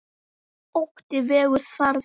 Ótti vegur þar þungt.